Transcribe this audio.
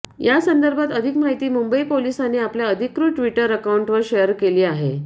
यासंदर्भात अधिक माहिती मुंबई पोलिसांनी आपल्या अधिकृत ट्विटर अकाउंटवर शेअर केली आहे